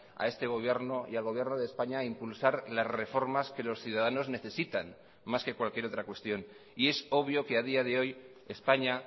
a este gobierno y al gobierno de españa a impulsar las reformas que los ciudadanos necesitan más que cualquier otra cuestión y es obvio que a día de hoy españa